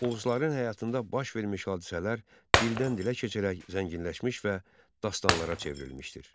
Oğuzların həyatında baş vermiş hadisələr dildən-dilə keçərək zənginləşmiş və dastanlara çevrilmişdir.